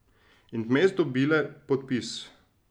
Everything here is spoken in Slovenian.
In vmes dobile podpis.